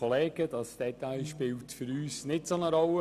Dieses Detail spielt für uns keine so grosse Rolle.